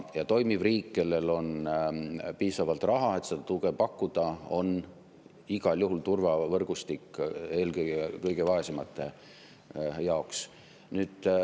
Ja toimiv riik, kellel on piisavalt raha, et seda tuge pakkuda, on igal juhul turvavõrgustik eelkõige kõige vaesemate jaoks.